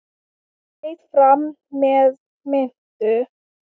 Berið fram með mintu.